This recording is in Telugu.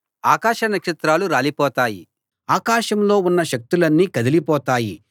ఆకాశ నక్షత్రాలు రాలిపోతాయి ఆకాశంలో ఉన్న శక్తులన్నీ కదిలిపోతాయి